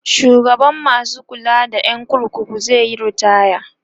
shugaban masu kula da gidan kurkuku zaiyi ritaya